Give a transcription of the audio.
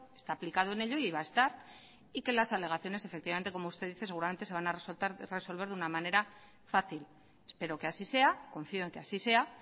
está aplicado en ello y que va a estar y que las alegaciones efectivamente como usted dice seguramente se van a resolver de una manera fácil espero que así sea confío en que así sea